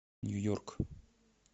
нью йорк